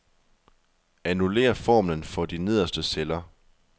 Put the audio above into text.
Annullér formlen for de nederste celler.